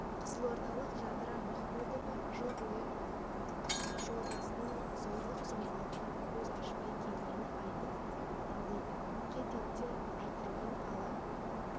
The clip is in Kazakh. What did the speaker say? қызылордалық жадыра махмудова жыл бойы жолдасының зорлық-зомбылығынан көз ашпай келгенін айтып налиды қит етсе жұдырығын ала